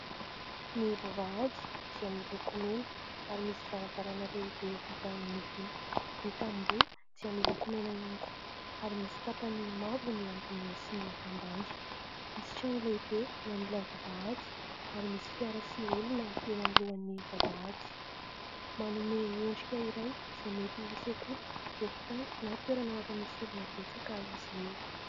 Ny vavahady dia miloko mena ary misy varavarana lehibe vita amin'ny vy. Ny tamboho dia miloko mena ihany koa ary misy tapany mavo ny ambony sy ny ambany. Misy trano lehibe eo anilan'ny vavahady ary misy fiara sy olona eo anoloan'ny vavahady. Manome endrika iray izay mety ho sekoly, hôpitaly na toerana hafa misy olona betsaka izy io.